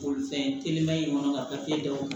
Bolifɛn telima in kɔnɔ ka papiye d'anw ma